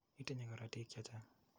Itinye korotik che chang'.